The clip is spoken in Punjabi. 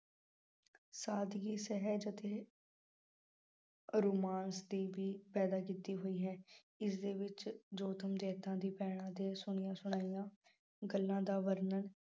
ਸਾਦਗੀ ਸਹਿਜ ਅਤੇ romance ਦੀ ਵੀ ਪੈਦਾ ਕੀਤੀ ਹੋਈ ਹੈ। ਜਿਸਦੇ ਵਿੱਚ ਭੈਣਾਂ ਦੇ ਸੁਣੀਆਂ ਸੁਣਾਈਆਂ ਗੱਲਾਂ ਦਾ ਵਰਣਨ